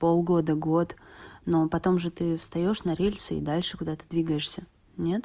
полгода год ну а потом же ты встаёшь на рельсы и дальше куда-то двигаешься нет